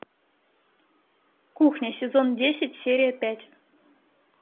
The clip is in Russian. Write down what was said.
кухня сезон десять серия пять